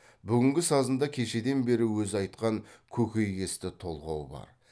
бүгінгі сазында кешеден бері өзі айтқан көкей кесті толғау бар